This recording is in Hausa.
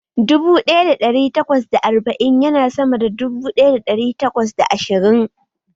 Dubu ɗaya da ɗari takwas da arba'in ya na sama da dubu ɗaya da ɗari takwas da ashirin